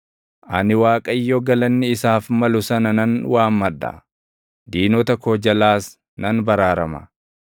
Ani Waaqayyo galanni isaaf malu sana nan waammadha; diinota koo jalaas nan baraarama.